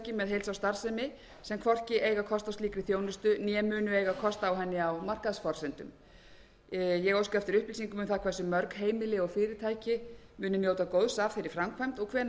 heilsársstarfsemi sem hvorki eiga kost á slíkri þjónustu né munu eiga kost á henni á markaðsforsendum ég óska eftir upplýsingum um það hversu mörg heimili og fyrirtæki muni njóta góðs af þeirri framkvæmd og hvenær megi